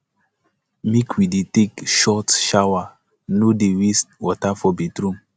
make we dey take short shower no dey waste water for bathroom